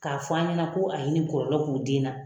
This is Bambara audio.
K'a fɔ a ɲɛna ko a ye nin kɔlɔlɔ k'u den na.